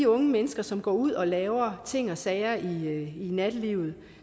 unge mennesker som går ud og laver ting og sager i nattelivet